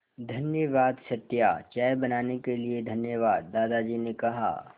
धन्यवाद सत्या चाय बनाने के लिए धन्यवाद दादाजी ने कहा